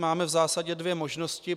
Máme v zásadě dvě možnosti.